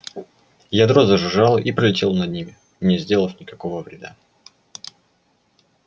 у ядро зажужжало и пролетело над ними не сделав никакого вреда